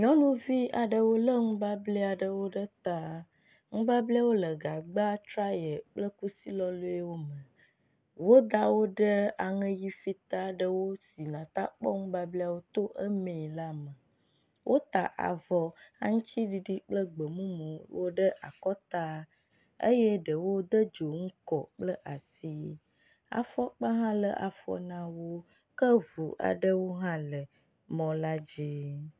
Nyɔnuvi aɖewo le nubable aɖewo ɖe ta. Nubablewo le gagb, traye kple kusi lɔlɔewo me. woda wo ɖe aŋe ʋi fita aɖe sin ate akpɔ nubablewo to emee la me. Wota avɔ aŋtiɖiɖi kple gbemumuwo ɖe akɔta eye ɖewo de dzonu kɔ kple asi. Afɔkpa hã le afɔ na wo ke ŋu aɖewo hã le mɔ la dzi.